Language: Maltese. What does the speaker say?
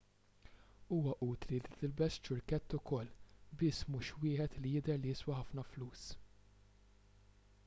huwa utli li tilbes ċurkett ukoll biss mhux wieħed li jidher li jiswa ħafna flus